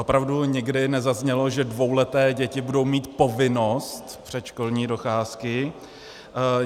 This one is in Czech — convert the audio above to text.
Opravdu nikdy nezaznělo, že dvouleté děti budou mít povinnost předškolní docházky.